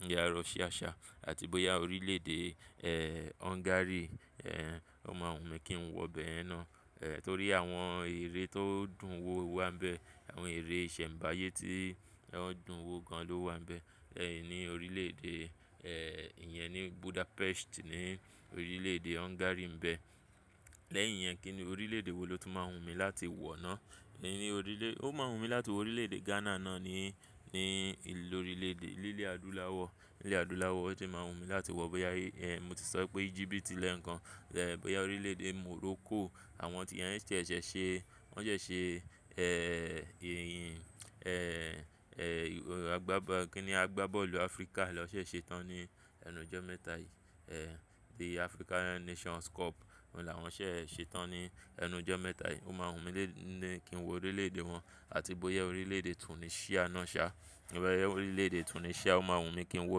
bóyá Russia ṣá àti bóyá orílẹ̀-èdè Hungary ó máa wùn mí kí n wọ ibẹ̀yẹnnáà. Nítorí àwọn ère tó dùn wò wà ńbẹ, àwọn ère ìṣẹ̀mbáyé tí wọn dùn wò gan ló wà ńbẹ. Ni orílẹ̀-èdè ìyẹn ni Budapest ní orílẹ̀-èdè Hungary ńbẹ. Lẹ́yìn yẹn kí ni orílẹ̀-èdè wo ló tún máa wùn mí láti wọ̀ náà? Ni orílẹ̀, ó máa wùn mí láti wọ orílẹ̀-èdè Ghana náà ni, ni lórílẹ̀-èdè nílẹ̀ adúláwọ̀, nílẹ̀ adúláwọ̀ ó tún máa wùn mí láti wọ. Bóyá mo ti sọ pé Egypt lẹ́ẹ̀kan, bóyá orílẹ̀-èdè Morocco àwọn tí ìyẹn ṣẹ̀ṣẹ̀ ṣe, wọ́n ṣẹ̀ ṣe ẹ̀h agbábọ́, kí ni agbábọ̀lù Africa lọ ṣẹ̀ ṣe tán ní ẹnu ọjọ́ mẹ́ta yìí the African Nations Cup. Ohun làwọn ṣẹ̀ ṣe tán ní ẹnu ọjọ́ mẹ́ta yìí. Ó máa wùn mí lé ní kí n wọ orílẹ̀-èdè wọn àti bóyá orílẹ̀-èdè Tunisia náà ṣá. Bóyá orílẹ̀-èdè Tunisia ó máa wùn mí kí n wọ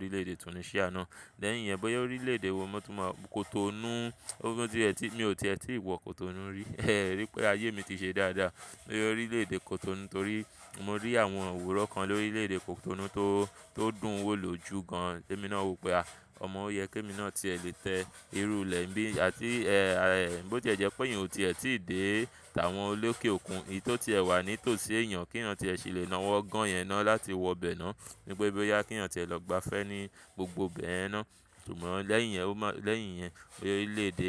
orílẹ̀-èdè Tunisia náà. Lẹ́yìn yẹn bóyá orílẹ̀-èdè wo mo tún máa, Cotonou ó ti ẹ̀ ti, mi ò tiẹ̀ tíì wọ Cotonou rí ẹ o rí pé ayé mi ti ṣe dáadáa. Bóyá orílẹ̀-èdè Cotonou torí mo rí àwọn òwúrọ̀ kan lórílẹ̀-èdè Cotonou tó, tó dùn wò ló jù gan. Tẹ́ mí náà wò pé a ọmọ ó yẹ kí mi náà ti lè tẹ irú ilẹ̀ ńbí àti bó tí ẹ̀ jẹ́ pé ìyẹn ò ti è tíì dé tàwọn olókè òkun, èyí tó ti ẹ wà ní tòsí èèyàn kí èèyàn ti ẹ ṣì lè nawọ́ gan yẹn náà láti wọ bẹ náà. Nípé bóyá kí èèyàn ti ẹ lọ gba'fẹ́ ní gbogbo ibẹ̀yẹn náà. Ṣùgbọ́n lẹ́yìn yẹn ó má lẹ́yìn yẹn orílẹ̀-èdè.